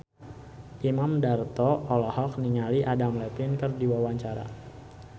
Imam Darto olohok ningali Adam Levine keur diwawancara